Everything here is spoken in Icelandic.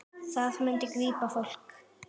Það myndi grípa fólk.